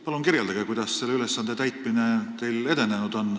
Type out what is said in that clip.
Palun kirjeldage, kuidas teil on selle ülesande täitmine edenenud!